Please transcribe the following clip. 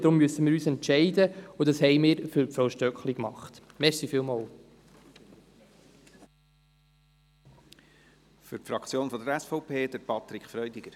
Darum müssen wir uns entscheiden, und das haben wir zugunsten von Frau Stöckli getan.